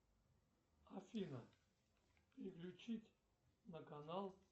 афина переключить на канал